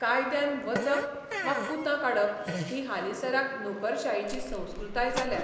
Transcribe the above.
कायद्यान वचप वा कुतां काडप ही हालींसराक नोकरशायेची संस्कृताय जाल्या.